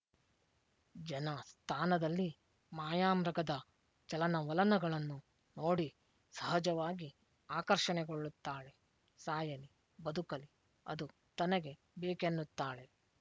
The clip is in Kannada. ಜನಸ್ಥಾನದಲ್ಲಿ ಮಾಯಾಮೃಗದ ಚಲನವಲನಗಳನ್ನು ನೋಡಿ ಸಹಜವಾಗಿ ಆಕರ್ಷಣೆಗೊಳ್ಳುತ್ತಾಳೆ ಸಾಯಲಿ ಬದುಕಲಿ ಅದು ತನಗೆ ಬೇಕೆನ್ನುತ್ತಾಳೆ